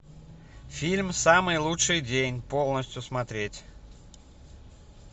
фильм самый лучший день полностью смотреть